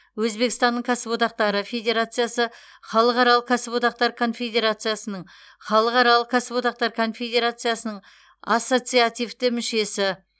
өзбекстанның кәсіподақтары федерациясы халықаралық кәсіподақтар конфедерациясының халықаралық кәсіподақтар конфедерациясының ассоциацивті мүшесі